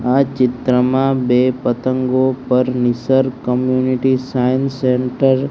આ ચિત્રમાં બે પતંગો પર નિસર્ગ કમ્યુનિટી સાયન્સ સેન્ટર --